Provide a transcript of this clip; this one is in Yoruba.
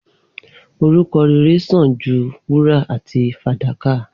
Orúkọ rẹrẹ sàn jú wúrà àti fàdákà